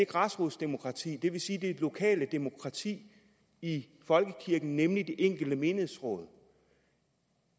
græsrodsdemokratiet det vil sige det lokale demokrati i folkekirken nemlig det enkelte menighedsråd